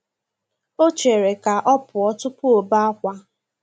O chere ka ọ pụọ tụpụ ọbe akwa.